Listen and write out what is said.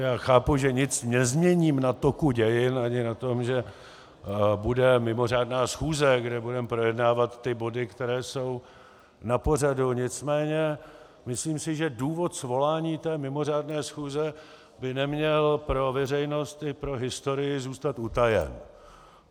Já chápu, že nic nezměním na toku dějin ani na tom, že bude mimořádná schůze, kde budeme projednávat ty body, které jsou na pořadu, nicméně myslím, že důvod svolání té mimořádné schůze by neměl pro veřejnost i pro historii zůstat utajen.